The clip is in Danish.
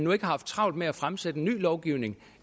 har haft travlt med at fremsætte en ny lovgivning